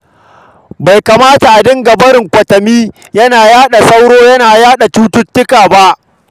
Bai kamata a dinga barin kwatami yana kawo sauro yana yaɗa cututtuka ba.